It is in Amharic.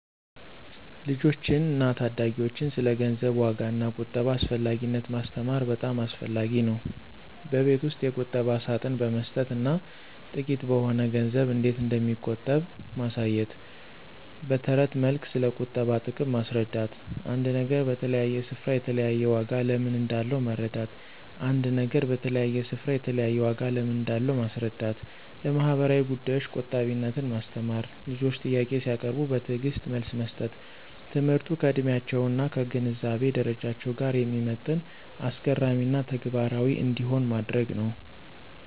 ልጆችን እና ታዳጊዎችን ስለ ገንዘብ ዋጋ እና ቁጠባ አስፈላጊነት ማስተማር በጣም አስፈላጊ ነው። በቤት ውስጥ የቁጠባ ሳጥን በመስጠት እና ጥቂት በሆነ ገንዘብ እንዴት እንደሚቆጥቡ ማሳየት። በትረት መልክ ስለቁጠባ ጥቅም ማስረዳት። አንድ ነገር በተለያየ ስፍራ የተለያየ ዋጋ ለምን እንዳለው መረዳት ·አንድ ነገር በተለያየ ስፍራ የተለያየ ዋጋ ለምን እንዳለው ማስረዳት። ለማህበራዊ ጉዳዮች ቆጣቢነትን ማስተማር። ልጆች ጥያቄ ሲያቀርቡ በትዕግስት መልስ መስጠት። ትምህርቱ ከዕድሜያቸው እና ከግንዛቤ ደረጃቸው ጋር የሚመጥን፣ አስገራሚ እና ተግባራዊ እንዲሆን ማድረግ ነው።